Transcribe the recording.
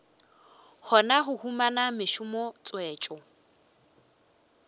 kgona go humana mešomo tswetšo